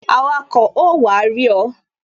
Awako ó wá rí ọ